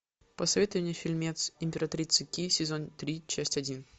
посоветуй мне фильмец императрица ки сезон три часть один